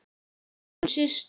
Írunn systir.